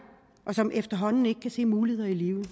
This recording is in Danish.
og som efterhånden ikke kan se muligheder i livet